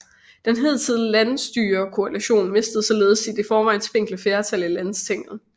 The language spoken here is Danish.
Den hidtidige landsstyrekoalition mistede således sit i forvejen spinkle flertal i Landstinget